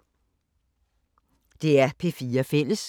DR P4 Fælles